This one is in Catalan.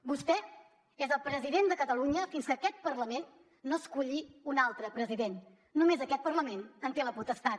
vostè és el president de catalunya fins que aquest parlament no esculli un altre president només aquest parlament en té la potestat